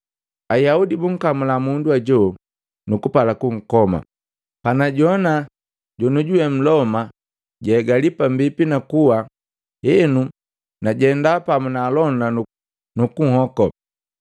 “Ayaudi bumkamula mundu hajo nukupala kukoma. Panajowana jonujuwe Mloma jakabia pambipi na kuwa, henu najenda pamu na alonda nukunhoko.